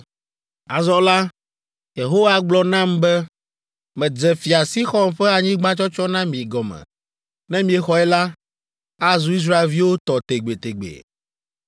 Azɔ la, Yehowa gblɔ nam be, “Medze Fia Sixɔn ƒe anyigba tsɔtsɔ na mi gɔme. Ne miexɔe la, azu Israelviwo tɔ tegbetegbe.”